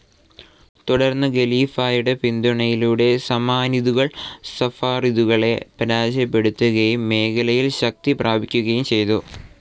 തുടർന്ന് ഖലീഫയുടെ പിന്തുണയിലൂടെ സമാനിദുകൾ സഫാറിദുകളെ പരാജയപ്പെടുത്തുകയും മേഖലയിൽ ശക്തി പ്രാപിക്കുകയും ചെയ്തു.